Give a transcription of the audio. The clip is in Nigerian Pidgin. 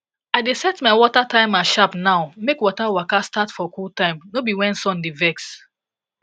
i dey set my water timer sharp now make water waka start for cool time no be when sun dey vex